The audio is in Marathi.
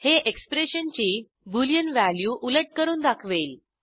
हे एक्सप्रेशनची बोलियन व्हॅल्यू उलट करून दाखवेल